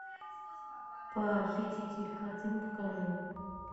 похититель картин покажи